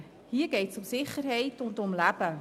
Hier geht es um Sicherheit und um Leben.